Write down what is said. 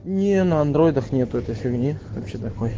не на андроидах нету этой фигни